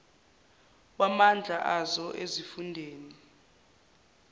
wamandla azo ezifundeni